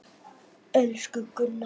Elsku Gunna amma.